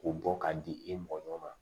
K'o bɔ k'a di e mɔɲɔ ma